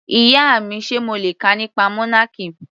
Ìyá mi, Sé mo le kà nípa monarchy?.